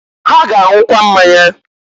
Ha ga-anwụkwa mmanya.